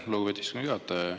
Aitäh, lugupeetud istungi juhataja!